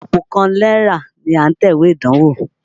Àpò kan náírà ni à ń tẹ̀wé ìdánwó.